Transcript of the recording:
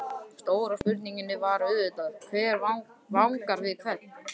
Stóra spurningin var auðvitað: Hver vangar við hvern?